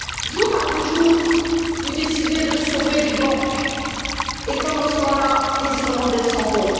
Jour après jour, vous décidez de sauver des banques et, pendant ce temps là, les Irlandais s'en vont.